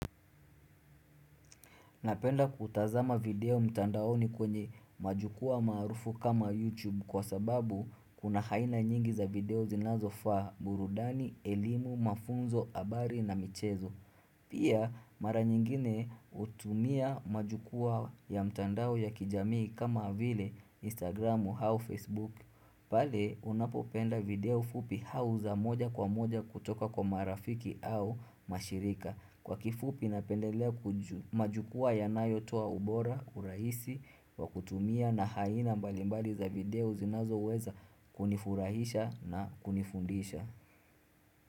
Napenda kutazama video mtandaoni kwenye majukwaa maarufu kama YouTube kwa sababu kuna aina nyingi za video zinazofaa, burudani, elimu, mafunzo, habari na michezo. Pia mara nyingine hutumia majukwaa ya mtandao ya kijamii kama vile Instagram au Facebook. Pale unapopenda video fupi au za moja kwa moja kutoka kwa marafiki au mashirika. Kwa kifupi napendelea majukwaa yanayotoa ubora, urahisi wakutumia na aina mbalimbali za video zinazoweza kunifurahisha na kunifundisha.